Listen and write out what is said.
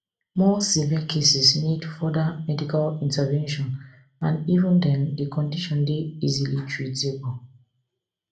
more severe cases need further medical intervention and even den di condition dey easily treatable